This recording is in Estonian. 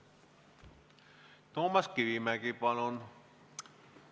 Toomas Kivimägi, palun!